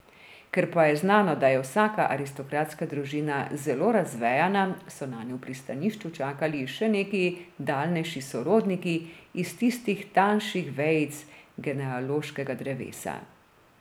Ker pa je znano, da je vsaka aristokratska družina zelo razvejana, so nanjo v pristanišču čakali še neki daljnejši sorodniki, iz tistih tanjših vejic genealoškega drevesa.